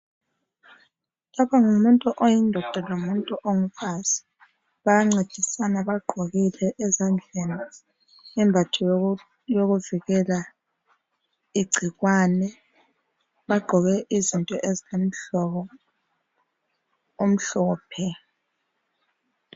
Lapha ngumuntu oyindoda lomuntu ongumfazi bayancedisana bagqokile ezandleni imbatho yokuvikela igcikwane bagqoke izinto ezimhlophe.